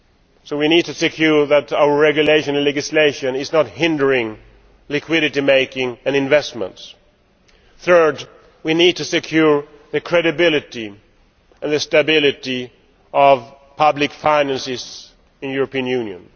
So we need to ensure that our regulation and legislation is not hindering liquidity making and investment. Thirdly, we need to secure credibility and the stability of public finances in the European Union.